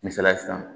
Misaliya sisan